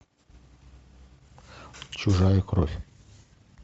чужая кровь